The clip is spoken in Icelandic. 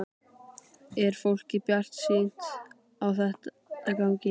Er fólk bjartsýnt á þetta gangi?